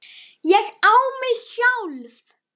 ÉG Á MIG SJÁLF!